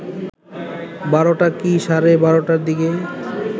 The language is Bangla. ১২টা কি সাড়ে ১২টার দিকে